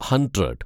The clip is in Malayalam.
ഹണ്ട്രഡ്